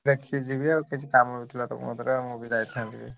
ଦେଖିକି ଯିବି ଆଉ କିଛି କାମ ନ ଥିଲା ଏବେ।